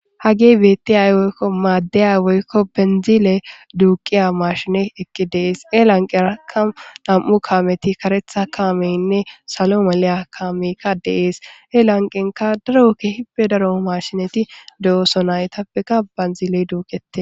hage beetti ay woykko maaddaya woykko benzile duuqiya marshine eqqi deees e lanqerakka nam7u kaameti karetha kaameynne salo maliya kaamekka deees e lanqenka darokke hibbe daro marshineti do7oso naytappeka banzile duuqete